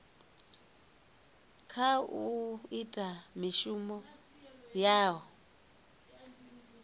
kha u ita mishumo yao